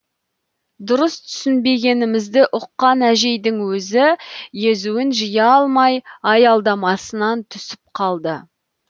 дұрыс түсінбегенімізді ұққан әжейдің өзі езуін жия алмай аялдамасынан түсіп қалды